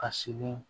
Ka sigi